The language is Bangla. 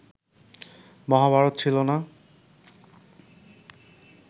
মহাভারত ছিল না